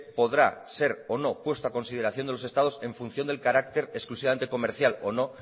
podrá ser o no puesto a consideración de los estados en función del carácter exclusivamente comercial o no